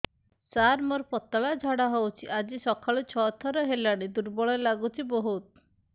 ସାର ମୋର ପତଳା ଝାଡା ହେଉଛି ଆଜି ସକାଳୁ ଛଅ ଥର ହେଲାଣି ଦୁର୍ବଳ ଲାଗୁଚି ବହୁତ